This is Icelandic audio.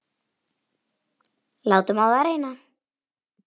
Látum á það reyna!